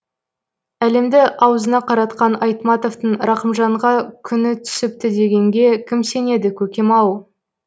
әлемді аузына қаратқан айтматовтың рахымжанға күні түсіпті дегенге кім сенеді көкем ау